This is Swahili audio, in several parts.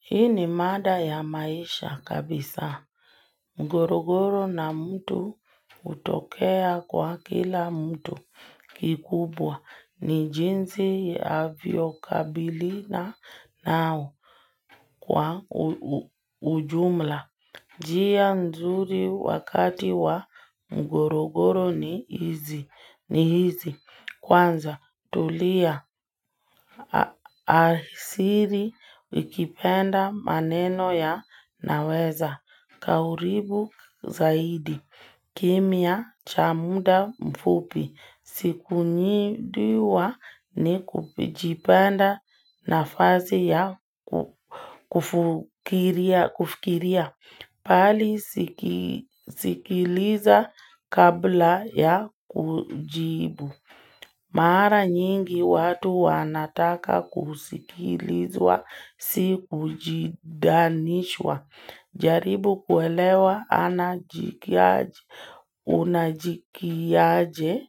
Hii ni mada ya maisha kabisa mgorogoro na mtu hutokea kwa kila mtu kikubwa ni jinsi ya lukabiliano nao kwa ujumla. Njia nzuri wakati wa mgogoro ni hizi kwanza tulia hasira zikipanda maneno yanaweza kuharibi zaidi, kimya cha muda mfupi nafasi ya kufikiria bali sikiliza kabla ya kujibu. Mara nyingi watu wanataka kusikilizwa, si kujidanishwa, jaribu kuelewa anajikiaje, unajikiaje,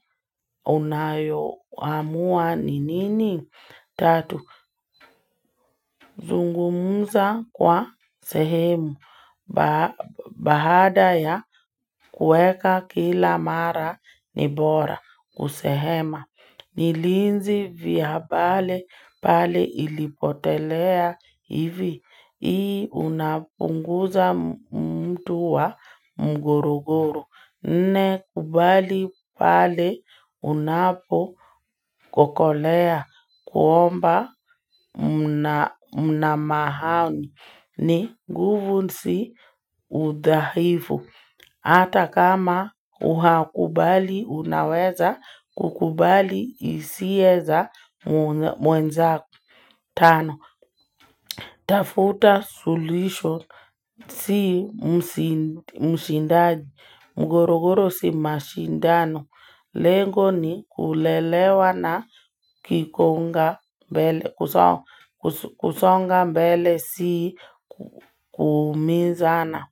unayoamua ni nini? Tatu, zungumuza kwa sehemu, baada ya kueka kila mara ni bora kusehema Nilinzi vya pale pale ilipotelea hivi, ii unapunguza mtu wa mguruguru Nne kubali pale unapo kukolea kuomba mna mahani guvu si udahifu. Hata kama haukubali unaweza kukubali hisia za mwenzako, tano. Tafuta suluhisho si mshindaji, mgorogoro si mashindano. Lengo ni kulelewa na kusonga mbele si kuumizana.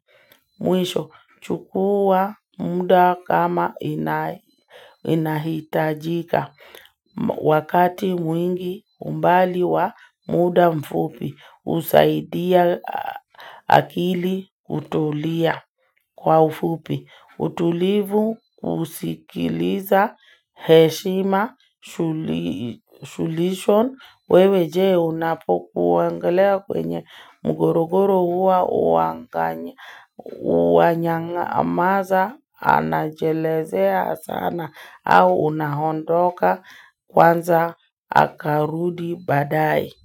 Mwisho, chukua muda kama inahitajika. Wakati mwingi umbali wa muda mfupi, usaidia akili kutulia kwa ufupi. Utulivu, usikiliza, heshima, shulihisho. Wewe jee unapokuongelea kwenye mgorogoro huwa unayamaza anajelezea sana au unaondoka kwanza akarudi badae.